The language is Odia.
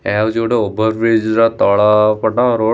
ଏହା ହେଉଛି ଗୋଟେ ଓଭରବ୍ରିଜ୍‌ ର ତଳ ପଟ ରୋଡ ।